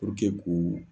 k'u